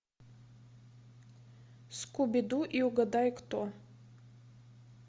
скуби ду и угадай кто